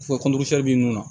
Fɔ b'i mun na